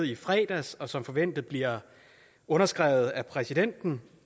i fredags og som forventes at blive underskrevet af præsidenten